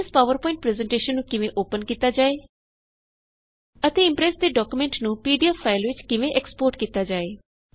aim S PowerPoint presentation ਨੂੰ ਕਿਵੇਂ open ਕਿਤਾ ਜਾਏ ਅਤੇ ਇਮਪ੍ਰੈਸ ਦੇ ਡਾਕਯੂਮੈਂਟ ਨੂੰ ਪੀ ਡੀ ਏਫ ਫਾਇਲ ਵਿੱਚ ਕਿਵੇ ਐਕਸਪੋਰਟ ਕੀਤਾ ਜਾਏ